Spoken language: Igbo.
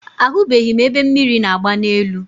Ahụbeghị m ebe mmiri na-agba n'elu.